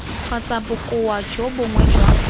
kgotsa bokoa jo bongwe jwa